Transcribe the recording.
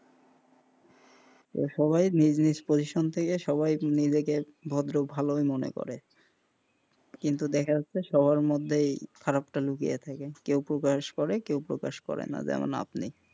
সবাই নিজ নিজ position থেকে নিজেকে ভদ্র ভালোই মনে করে কিন্তু দেখা যায় সবার মধ্যে এই খারাপটা লুকিয়ে থাকে কেউ প্রকাশ করে কেউ প্রকাশ করে না যেমন আপনি,